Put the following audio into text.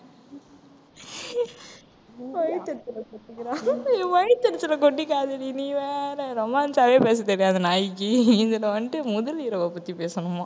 வயித்தெரிச்சல கொட்டிக்குறா என் வயித்தெரிச்சலை கொட்டிக்காதடி நீ வேற romance ஆவே பேசத் தெரியாது நாயிக்கு இதுல வந்துட்டு முதலிரவை பத்தி பேசணுமாம்